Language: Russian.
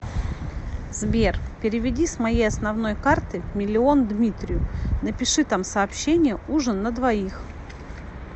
сбер переведи с моей основной карты миллион дмитрию напиши там сообщение ужин на двоих